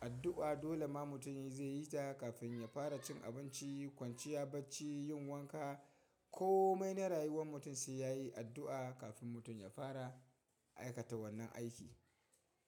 addu'a dole ma mutum zai yi ta kafin ya fara cin abinci, kwanciya bacci, yin wanka ko mai na rayuwar mutum sai ya yi addu'a kafin mutum ya fara aikata wannan aiki.